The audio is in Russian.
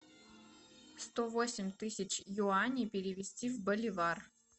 сто восемь тысяч юаней перевести в боливар